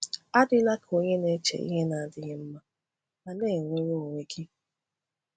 Adịla ka onye na-eche ihe na-adịghị mma ma na-ewere onwe gị.